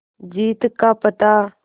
जीत का पता